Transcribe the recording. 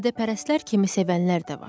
Badəpərəstlər kimi sevənlər də var.